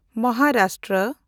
Maharashtra